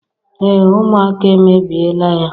Ee ụmụaka emebiela ya.